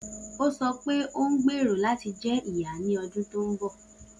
O sọ pe o ngbero lati jẹ iya ni ọdun to nbọ